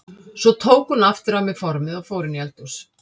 Svo tók hún aftur af mér formið og fór inn í eldhús.